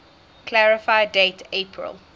clarify date april